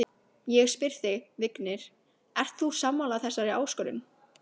Ég spyr þig, Vignir, ert þú sammála þessari áskorun?